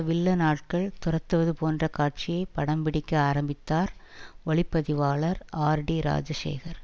villain ஆட்கள் துரத்துவது போன்ற காட்சியை படம் பிடிக்க ஆரம்பித்தார் ஒளி பதிவாளர் ஆர்டிராஜசேகர்